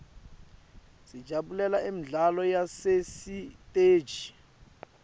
sijabulela imidlalo yasesiteji